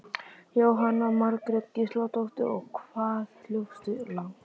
Jóhanna Margrét Gísladóttir: Og hvað hljópstu langt?